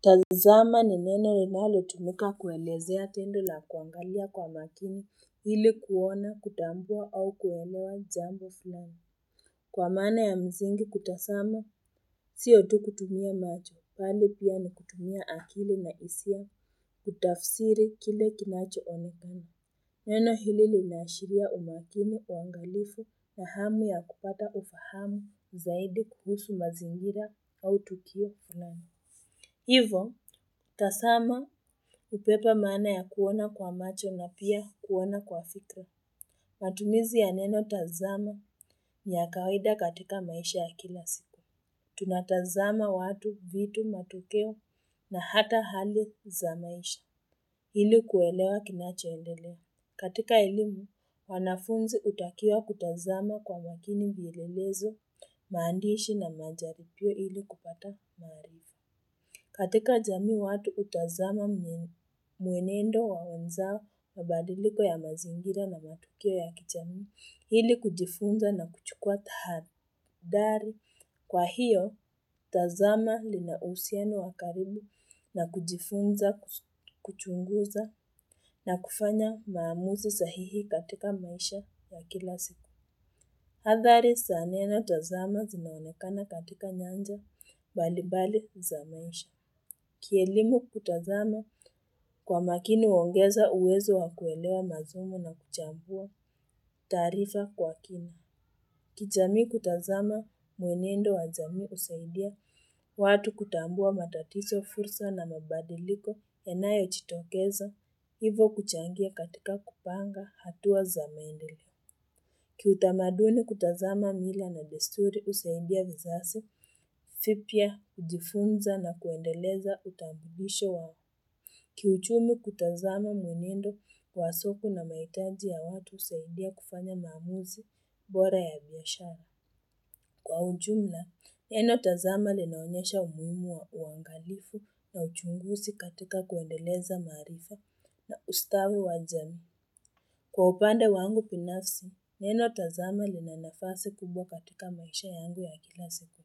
Tazama ni neno linalotumika kuelezea tendo la kuangalia kwa makini ili kuona kutambua au kuelewa jambo fulani. Kwa maana ya msingi kutazama sio tu kutumia macho bali pia ni kutumia akili na hisia kutafsiri kile kinachoonekana. Neno hili linaashiria umakini uangalifu na hamu ya kupata ufahamu zaidi kuhusu mazingira au tukia fulani. Hivo, tazama hubeba maana ya kuona kwa macho na pia kuona kwa fikra. Matumizi ya neno tazama ni ya kawaida katika maisha ya kila siku. Tunatazama watu, vitu, matokeo na hata hali za maisha. Ili kuelewa kinachoendelea. Katika elimu, wanafunzi hutakiwa kutazama kwa mwakini vielelezo, maandishi na majaribio ili kupata maarifa. Katika jamii watu hutazama mwenendo wa wenzao mabadiliko ya mazingira na matukio ya kijamii ili kujifunza na kuchukua tahadhari. Kwa hiyo, tazama lina uhusiano wa karibu na kujifunza kuchunguza na kufanya maamuzi sahihi katika maisha ya kila siku. Adhari za neno tazama zinaonekana katika nyanja mbalimbali za maisha. Kielimu kutazama kwa makini huongeza uwezo wa kuelewa masomo na kuchambua taarifa kwa kina. Kijamii kutazama mwenendo wa jamii husaidia watu kutambua matatizo fursa na mabadiliko yanayo jitokeza. Hivo kuchangia katika kupanga hatua za maendeleo. Kiutamaduni kutazama mila na desturi husaidia vizazi vipya kujifunza na kuendeleza utambulisho wao. Kiuchumi kutazama mwenendo kwa soko na mahitaji ya watu husaidia kufanya maamuzi bora ya biashara. Kwa ujumla, neno tazama linaonyesha umuhimu wa uangalifu na uchunguzi katika kuendeleza maarifa na ustawi wa jamii. Kwa upande wangu binafsi, neno tazama lina nafasi kubwa katika maisha yangu ya kila siku.